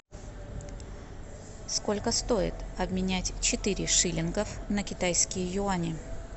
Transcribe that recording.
сколько стоит обменять четыре шиллинга на китайские юани